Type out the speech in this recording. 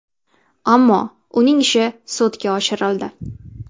Ammo uning ishi sudga oshirildi.